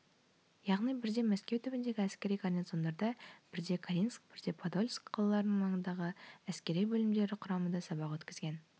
яғни бірде мәскеу түбіндегі әскери гарнизондарда бірде калининск бірде падольск қалаларының маңындағы әскери бөлімдері құрамында сабақ өткізген